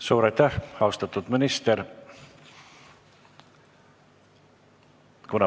Suur aitäh, austatud minister!